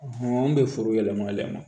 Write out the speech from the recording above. an bɛ foro yɛlɛma yɛlɛma